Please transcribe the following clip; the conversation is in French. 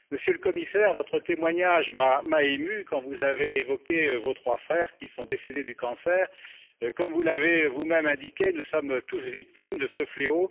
Monsieur le Commissaire, votre témoignage m'a ému quand vous avez évoqué vos trois frères qui sont décédés du cancer. Comme vous l'avez vous même indiqué, nous sommes tous victimes de ce fléau.